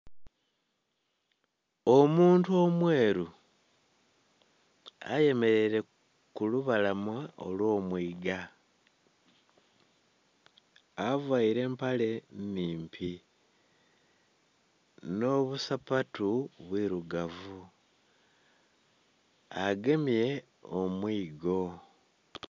Omuntu omweru ayemeraire kulubalama olwomwiiga, avaire empale nnhimpi nh'obusapatu bwiirugavu agemye omwigo.